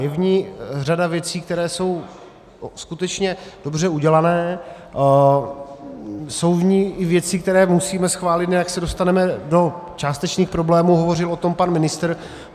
Je v ní řada věcí, které jsou skutečně dobře udělané, jsou v ní i věci, které musíme schválit, jinak se dostaneme do částečných problémů, hovořil o tom pan ministr.